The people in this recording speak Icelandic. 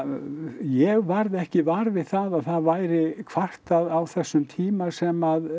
ég varð ekki var við það að það væri kvartað á þessum tíma sem